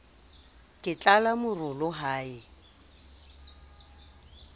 ke tlala morolo ha e